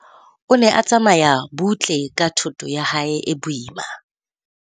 O ne tsamaya butle ka thoto ya hae e boima.